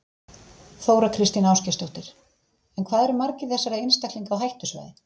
Þóra Kristín Ásgeirsdóttir: En hvað eru margir þessara einstaklinga á hættusvæði?